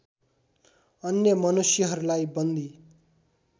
अन्य मनुष्यहरूलाई बन्दी